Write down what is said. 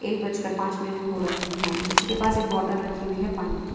एक बज कर पांच मिनिट हो रखी हैं उसी के पास एक बोटल रखी हुई है पानी की।